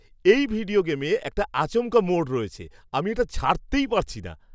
এই ভিডিও গেমে একটা আচমকা মোড় রয়েছে। আমি এটা ছাড়তেই পারছি না!